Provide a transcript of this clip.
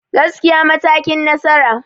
Gaskiya matakin nasara.